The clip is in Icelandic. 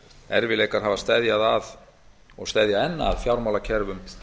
erfiðleikar hafa steðjað að og steðja enn að fjármálakerfum